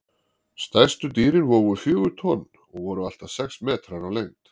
Stærstu dýrin vógu fjögur tonn og voru allt að sex metrar á lengd.